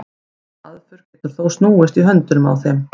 þessi aðferð getur þó snúist í höndunum á þeim